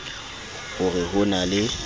ho re ho na le